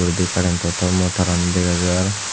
uredi current to tom mo tarani degajar.